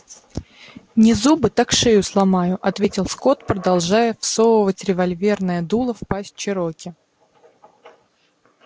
не зубы так шею сломаю ответил скотт продолжая всовывать револьверное дуло в пасть чероки